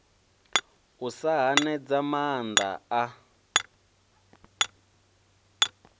u sa hanedza maanda a